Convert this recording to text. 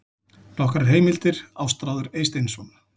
Nokkrar heimildir: Ástráður Eysteinsson.